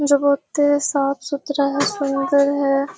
जो बहुत साफ-सुथरा है सुंदर है।